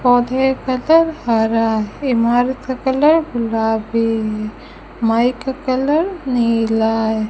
पौधे का कलर हरा है इमारत का कलर गुलाबी है माइक का कलर नीला है।